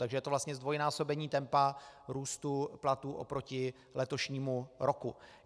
Takže je to vlastně zdvojnásobení tempa růstu platů oproti letošnímu roku.